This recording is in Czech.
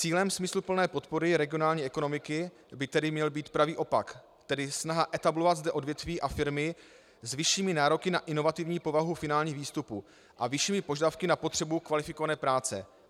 Cílem smysluplné podpory regionální ekonomiky by tedy měl být pravý opak, tedy snaha etablovat zde odvětví a firmy s vyššími nároky na inovativní povahu finálních výstupů a vyššími požadavky na potřebu kvalifikované práce.